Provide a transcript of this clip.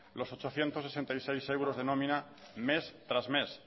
los ochocientos sesenta y seis euros de nómina mes tras mes